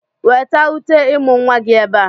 Weta uté ịmụ̀ nwa gị ebe a!